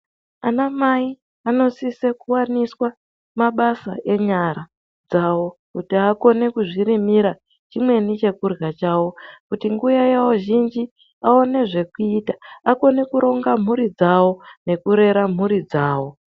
Ana mai vanosisa kuwaniswa mabasa anyara dzawo kuti akone kuzvirimira chimweni chekurya chawo kuti nguwa yawo zhinji vaone zvekuita akone kuronga mhuri dzawo nekurera mhuri dzawo.